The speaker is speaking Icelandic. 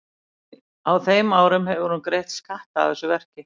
En á þeim árum hefur hún greitt skatta af þessu verki.